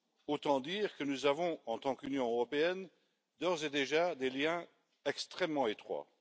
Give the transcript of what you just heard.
Autant dire que nous avons, en tant qu'Union européenne, d'ores et déjà des liens extrêmement étroits.